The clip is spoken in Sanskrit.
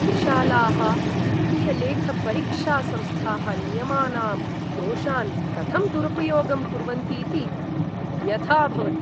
विशालाः वित्तीयलेखपरीक्षासंस्थाः नियमानां दोषान् कथं दुरुपयोगं कुर्वन्तीति व्यथा भवति।